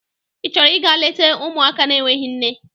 Ị chọrọ ịga leta ụmụaka n'enweghị nne?